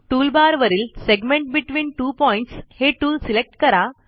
टूलबारवरील segment between two points हे tool select करा